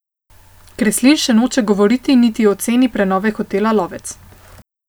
Kreslin še noče govoriti niti o ceni prenove hotela Lovec.